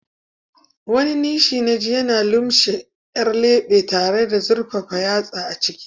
Wani nishi naji yana lumshe 'yan lebe tare da zurfafa yatsa a ciki.